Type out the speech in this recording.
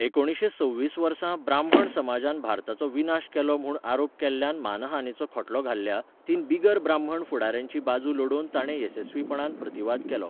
एकुणीशें सव्वीस वर्सा, ब्राह्मण समाजान भारताचो विनाश केलो म्हूण आरोप केल्ल्यान मानहानेचो खटलो घाल्ल्या, तीन बिगर ब्राह्मण फुडाऱ्यांची बाजू लडोवन ताणे येसस्वीपणान प्रतिवाद केलो.